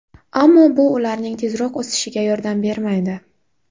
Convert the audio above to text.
Ammo bu ularning tezroq o‘sishiga yordam bermaydi.